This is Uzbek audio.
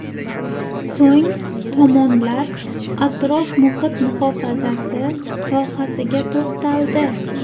So‘ng tomonlar atrof-muhit muhofazasi sohasiga to‘xtaldi.